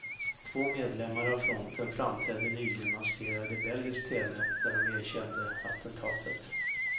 Två medlemmar av fronten framträdde nyligen maskerade i belgisk tv, där de erkände attentatet.